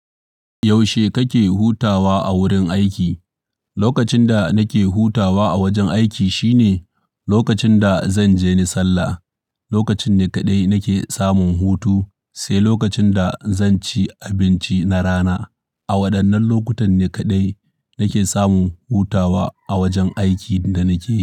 Yaushe kake hutawa a wurin aiki? Lokacin da nake hutawa a wajen aiki shine lokacin da zanje ni sallah. Lokacin ne kaɗai nake samun hutu, sai lokacin da zan ci abinci na rana. A waɗannan lokutan ne kaɗai nake samun hutawa a wajen aikin da nake yi.